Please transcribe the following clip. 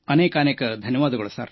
ಅನೇಕಾನೇಕ ಧನ್ಯವಾದಗಳು